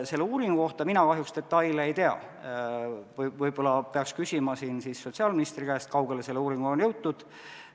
Selle uuringu kohta mina kahjuks detaile ei tea, võib-olla peaks küsima sotsiaalministri käest, kui kaugele selle uuringuga on jõutud.